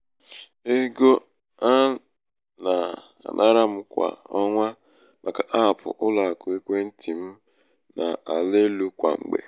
ego a um nà-ànara m kwà ọnwa màkà app ụlọakụ ekwentị̀ m nà-àla elū kwà mgbè.